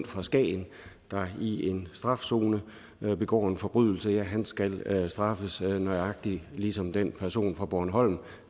fra skagen der i en strafzone begår en forbrydelse skal straffes nøjagtig ligesom den person fra bornholm